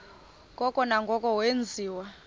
ngoko nangoko wenziwa